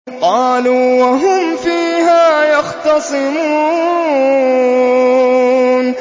قَالُوا وَهُمْ فِيهَا يَخْتَصِمُونَ